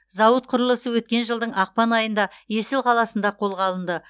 зауыт құрылысы өткен жылдың ақпан айында есіл қаласында қолға алынды